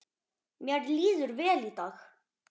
Mér líður vel í dag